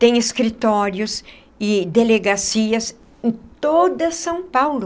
Tem escritórios e delegacias em toda São Paulo.